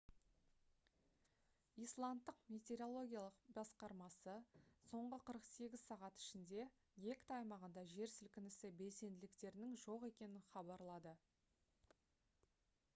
исландтық метеорологиялық басқармасы соңғы 48 сағат ішінде гекта аймағында жер сілкінісі белсенділіктерінің жоқ екенін хабарлады